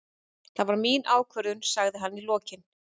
Það var mín ákvörðun, sagði hann í lokin.